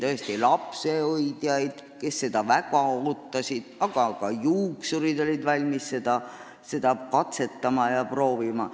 Mõtlen siin lapsehoidjaid, kes seda väga ootasid, aga ka juuksurid olid valmis seda katsetama, proovima.